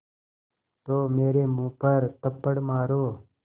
तो मेरे मुँह पर थप्पड़ मारो